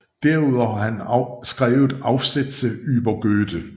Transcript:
Derudover har han skrevet Aufsätze über Goethe